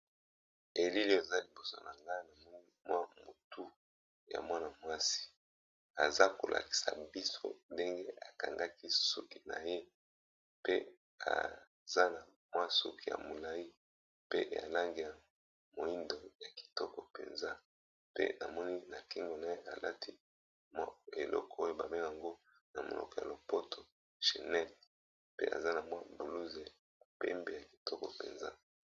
Elile eza liboso nanga na mwa mutu ya mwana mwasi aza ko lakisa biso ndenge ekangaki suki na ye pe aza na mwa suki ya molai pe na langi ya moindo ya kitoko mpenza, pe namoni na kingo na ye alati eloko oyo ba bengaka yango na monoko ya lopoto chenet pe aza na mwa buluze ya pembe ya kitoko penza.